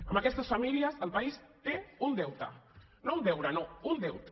amb aquestes famílies el país té un deute no un deure no un deute